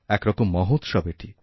এক রকম মহোৎসব এটি